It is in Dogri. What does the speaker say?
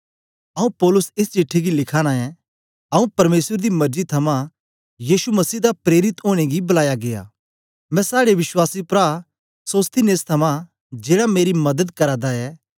आऊँ पौलुस एस चिट्ठी गी लिखाना ऐं आऊँ परमेसर दी मरजी थमां यीशु मसीह दा प्रेरित ओनें गी बलाया गीया मैं साड़े विश्वासी प्रा सोस्थिनेस थमां जेड़ा मेरी मदद करा दा ऐ